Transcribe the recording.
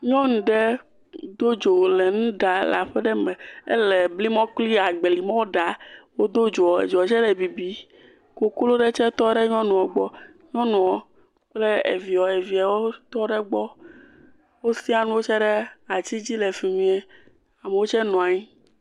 Nyɔnu ɖe do dzi le nu ɖaa le aƒe ɖe me. Ele blimɔ kple agbalimɔ ɖaa. Wodo dzo, dzoa tsɛ le bibim. Koklo ɖe tsɛ tɔ ɖe nyɔnua gbɔ. Nyɔnua kple via, viawo tɔ ɖe gbɔ. Wosiã nuwo tsɛ ɖe ati dzi le fi mi. Amewo tsɛ nɔ anyi.